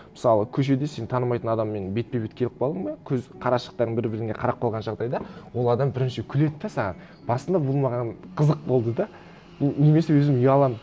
мысалы көшеде сен танымайтын адаммен бетпе бет келіп қалдың ба көз қарашықтарың бір біріне қарап қалған жағдайда ол адам бірінші күледі де саған басында бұл маған қызық болды да немесе өзім ұяламын